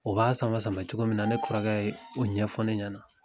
O b'a sama sama cogo min na ne kɔrɔkɛ yee o ɲɛfɔ ne ɲɛna.